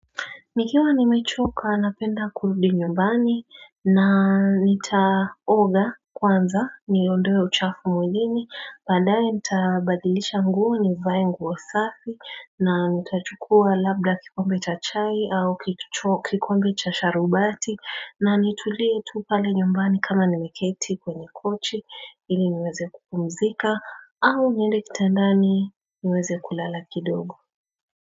Nikiwa nimechoka napenda kurudi nyumbani na nitaoga kwanza niondoe uchafu mwilini baadaye nitaabadilisha nguo nivae nguo safi na nitauchukua labda kikombe cha chai au kikombe cha sharubati na nitulie tu pale nyumbani kama nimeketi kwenye kochi ili niweze kupumzika au niende kitandani niweze kulala kidogo.